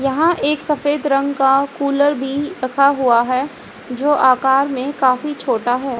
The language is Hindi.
यहां एक सफेद रंग का कूलर भी रखा हुआ है जो आकार में काफी छोटा है।